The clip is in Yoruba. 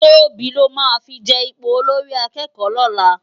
Tobi lò má fi je ipó ólórì àkèkò lòlá